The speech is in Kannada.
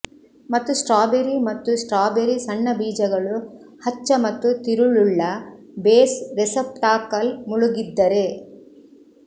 ಮತ್ತು ಸ್ಟ್ರಾಬೆರಿ ಮತ್ತು ಸ್ಟ್ರಾಬೆರಿ ಸಣ್ಣ ಬೀಜಗಳು ಹಚ್ಚ ಮತ್ತು ತಿರುಳುಳ್ಳ ಬೇಸ್ ರೆಸೆಪ್ಟಾಕಲ್ ಮುಳುಗಿದ್ದರೆ